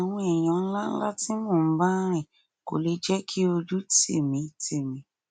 àwọn èèyàn ńláńlá tí mò ń bá rìn kò lè jẹ kí ojú tì mí tì mí